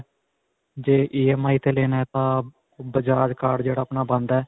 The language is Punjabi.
ਜੇ EMI ਤੇ ਲੈਣਾ ਹੈ ਤਾਂ bajaj card ਜਿਹੜਾ ਆਪਣਾ ਬਣਦਾ ਹੈ.